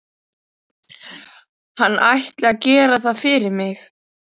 Hann ætli að gera það fyrir mig.